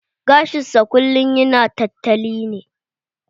Gashin sa kullum yana tantali ne.